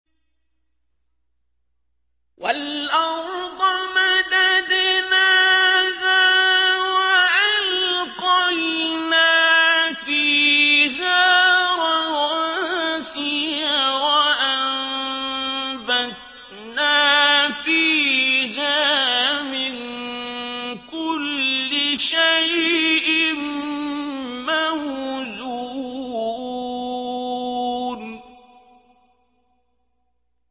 وَالْأَرْضَ مَدَدْنَاهَا وَأَلْقَيْنَا فِيهَا رَوَاسِيَ وَأَنبَتْنَا فِيهَا مِن كُلِّ شَيْءٍ مَّوْزُونٍ